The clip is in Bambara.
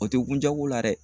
O tɛ kun jago la dɛ